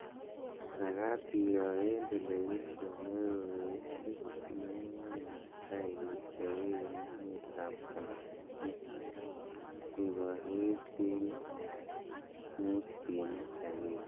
Magaat iroo eng' television neoo, eguu sinemait netaai kechoobe eng' emet ap tanzania, keeburuch eng' 5.1